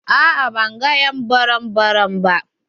A'a ban gan ƴ'an burum-burum ba.